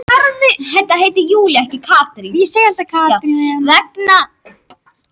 Vegna hreyfingar hjólanna breyttist dulmálið við hvern áslátt.